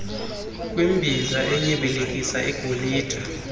kwimbiza enyibilikisa igolide